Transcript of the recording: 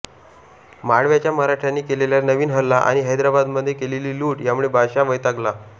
माळव्याच्या मराठ्यांनी केलेला नवीन हल्ला आणि हैद्राबादमध्ये केलेली लूट यामुळे बादशाह वैतागला